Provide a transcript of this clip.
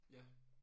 Ja